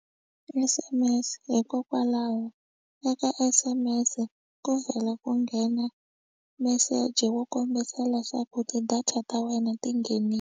S_M_S hikokwalaho eka S_M_S ku vhela ku nghena meseji wo kombisa leswaku ti-data ta wena tinghenile.